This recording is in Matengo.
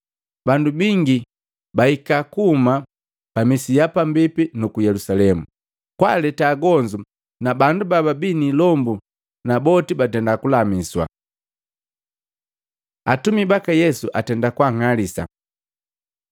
Bandu bingi bahika kuhuma ku musi ya pambipi na Yelusalemu, kwaleta agonzu na bandu baabi ni ilombu na boti batenda kulamiswa. Atumi baka Yesu atenda kwaang'alisa